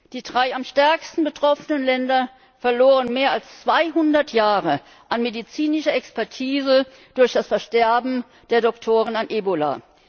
Die drei am stärksten betroffenen Länder verloren mehr als 200 Jahre an medizinischer Expertise durch das Versterben der Ärzte an Ebola.